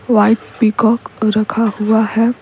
White peacock रखा हुआ है।